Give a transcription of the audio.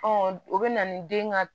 o bɛ na ni den ka